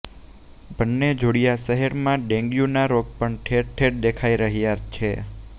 બન્ને જોડીયા શહેરમાં ડેન્ગ્યુના રોગ પણ ઠેર ઠેર દેખાઇ રહ્યા છે